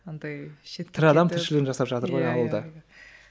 тірі адам тіршілігін жасап жатыр ғой ауылда